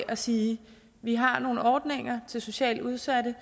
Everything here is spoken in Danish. at sige vi har nogle ordninger til socialt udsatte